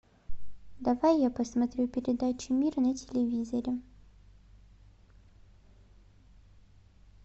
давай я посмотрю передачу мир на телевизоре